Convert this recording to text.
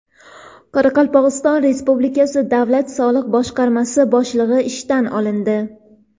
Qoraqalpog‘iston Respublikasi davlat soliq boshqarmasi boshlig‘i ishdan olindi.